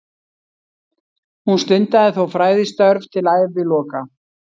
Hún stundaði þó fræðistörf til æviloka.